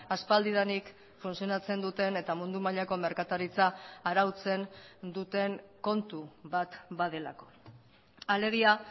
aspaldidanik funtzionatzen duten eta mundu mailako merkataritza arautzen duten kontu bat badelako alegia